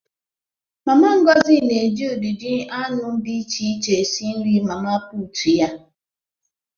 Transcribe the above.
Mama Ngozi na-eji ụdịdị anụ dị iche iche esi nri mama puutu ya.